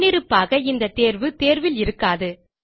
முன்னிருப்பாக இந்த தேர்வு தேர்வில் இருக்காது